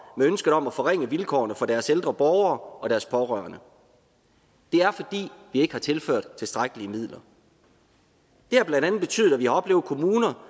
med ønsket om at forringe vilkårene for deres ældre borgere og deres pårørende det er fordi vi ikke har tilført tilstrækkelige midler det har blandt andet betydet at vi har oplevet kommuner